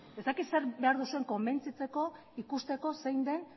ez dakit zer behar duzuen konbentzitzeko ikusteko zein den